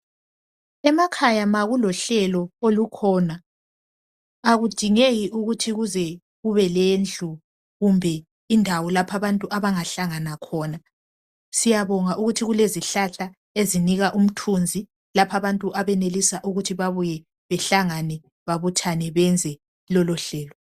Emakhaya ma kulohlelo olukhona akudingeki ukuthi kuze kube lendlu kumbe indawo lapho abantu abangahlana khona. Siyabonga ukuthi kulezihlahla ezinika umthunzi lapha abantu abenelisa ukuthi babuye bahlangane khona babuthane benze lolo hello.